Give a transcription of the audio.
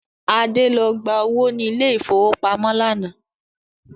Adé lọ gba owó ni ilẹ̀ ìfowópamọ́ lánàá